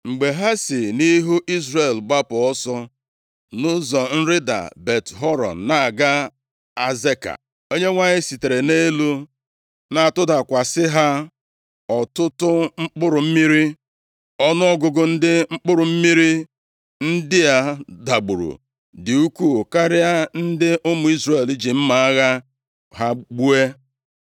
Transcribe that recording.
Mgbe ha si nʼihu Izrel gbapụ ọsọ nʼụzọ nrịda Bet-Horon na-aga Azeka, Onyenwe anyị sitere nʼelu na-atụdakwasị ha ọtụtụ mkpụrụ mmiri. Ọnụọgụgụ ndị mkpụrụ mmiri ndị a dagburu dị ukwuu karịa ndị ụmụ Izrel ji mma agha ha gbuo.